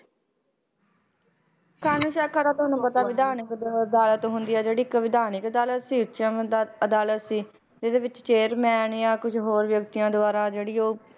ਕਾਨੂੰਨੀ ਸਾਖਾ ਤਾਂ ਤੁਹਾਨੂੰ ਪਤਾ ਵਿਧਾਨਕ ਅਦ~ ਅਦਾਲਤ ਹੁੰਦੀ ਆ ਜਿਹੜੀ ਇੱਕ ਵਿਧਾਨਕ ਦਲ ਸੀ ਅਦਾਲਤ ਸੀ, ਤੇ ਇਹਦੇ ਵਿੱਚ ਚੇਅਰਮੈਨ ਜਾਂ ਕੁਛ ਹੋਰ ਵਿਅਕਤੀਆਂ ਦੁਆਰਾ ਜਿਹੜੀ ਉਹ